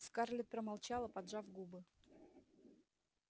скарлетт промолчала поджав губы